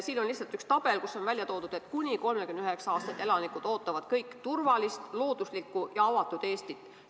Siin on lihtsalt üks tabel, kus on välja toodud, et kuni 39-aastased elanikud ootavad kõik turvalist, looduslikku ja avatud Eestit.